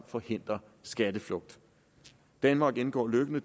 forhindre skatteflugt danmark indgår løbende